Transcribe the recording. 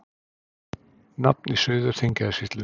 Nafn í Suður-Þingeyjarsýslu.